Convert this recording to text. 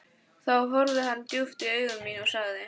Þá horfði hann djúpt í augu mín og sagði